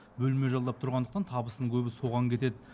бөлме жалдап тұрғандықтан табысының көбі соған кетеді